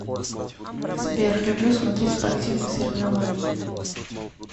сбер люблю смотреть спортивные соревнования